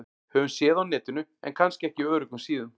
Höfum séð á Netinu- en kannski ekki á öruggum síðum.